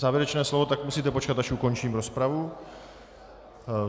Závěrečné slovo - tak musíte počkat, až ukončím rozpravu.